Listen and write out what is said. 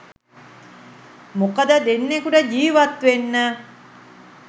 මොකද දෙන්කුට ජීවත්වෙන්න